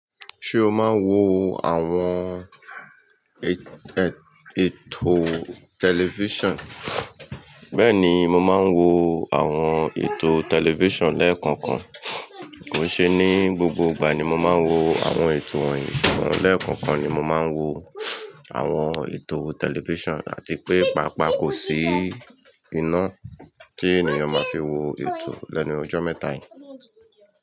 Ṣé o máa ń wo àwọn ètò tẹlifíṣàn? Bẹ́ẹ̀ni mo máa ń wo àwọn ètò tẹlifíṣàn lẹ́ẹ̀kọ̀kan. Kò ṣe ní gbogbo ìgbà ni mo máa ń wo àwọn ètò wọn yìí, ṣùgbọ́n lẹ́ẹ̀kọ̀kan ni mo máa ń wo àwọn ètò tẹlifíṣàn àti pé pàápàá kò sí iná tí ènìyàn máa fi wo ètò lẹ́nu ijọ́ mẹ́ta yìí.